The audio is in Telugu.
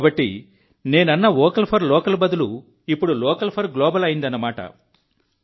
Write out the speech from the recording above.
కాబట్టి నేను వోకల్ ఫర్ లోకల్ అన్నప్పుడు ఇప్పుడు లోకల్ ఫర్ గ్లోబల్ అన్నట్టు